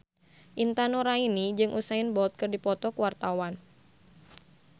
Intan Nuraini jeung Usain Bolt keur dipoto ku wartawan